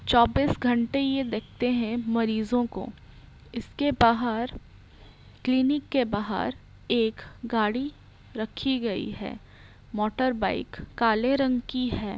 चौबिस घंटे ये देखते है मरीजों को इसके बाहर क्लिनिक के बाहर एक गाड़ी रखी गई है मोटर बाईक काले रंग की है।